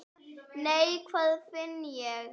Nei, hvað finn ég!